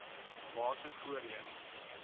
bate voorheen